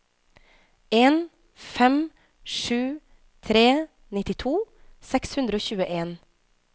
en fem sju tre nittito seks hundre og tjueen